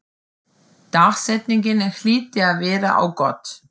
Dagsetningin hlyti að vita á gott.